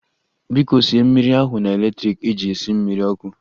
Biko sie mmiri ahu na electrik eji esi mmiri ọkụ